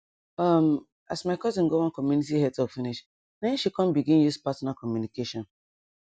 um as my cousin go one community health talk finish na em she come begin use partner communication